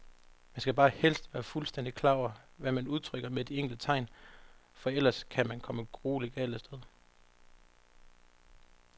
Man skal bare helst være fuldstændigt klar over, hvad man udtrykker med de enkelte tegn, for ellers kan man komme grueligt galt af sted.